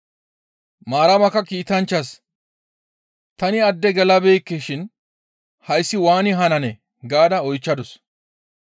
Maaramakka kiitanchchaas, «Tani adde gelabeekke shin hayssi waani hananee?» gaada oychchadus.